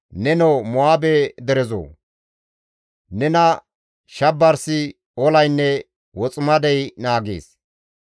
Nenoo Mo7aabe derezoo! Nena shabarsi, ollaynne woximadey naagees.